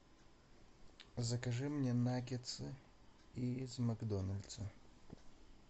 закажи мне наггетсы из макдональдса